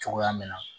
Cogoya min na